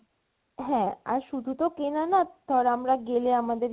হ্যা আর শুধরা তো কেনা না আর ধর আমরা গেলে আমাদের